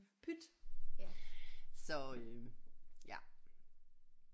Pyt så øh ja